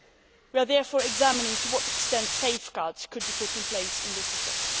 We are therefore examining to what extent safeguards could be put in place to this effect.